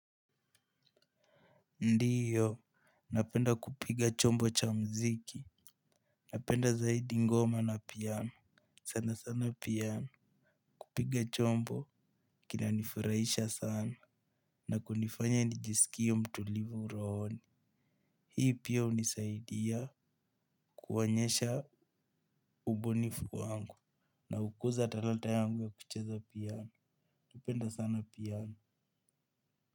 Ndio, napenda kupiga chombo cha muziki. Napenda zaidi ngoma na piano sana sana piano. Kupiga chombo kina nifurahisha sana na kunifanya nijisikie mtulivu rohoni. Hii pia hunisaidia kuonyesha ubonifu wangu na hukuza talanta yangu ya kucheza piano. Napenda sana piano.